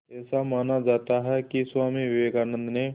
ऐसा माना जाता है कि स्वामी विवेकानंद ने